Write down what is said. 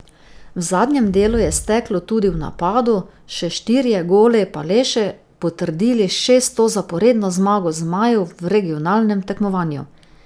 V zadnjem delu je steklo tudi v napadu, še štirje goli pa le še potrdili šesto zaporedno zmago zmajev v regionalnem tekmovanju.